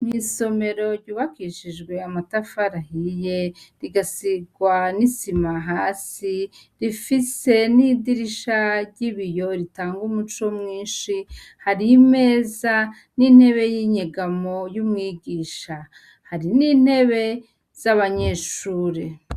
Mw'isomero ryubakishijwe amatafari ahiye, rigasigwa n'isima hasi, rifise n'idirisha ry'ibiyo ritànga umuco mwinshi, hari imeza n'intebe y'inyegamo y'umwigisha. Hari n'intebe z'abanyeshure.